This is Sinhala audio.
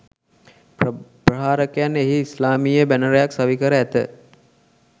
ප්‍රහාරකයන් එහි ඉස්ලාමීය බැනරයක් සවිකර ඇත.